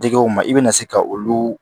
Digiw ma i bɛna se ka olu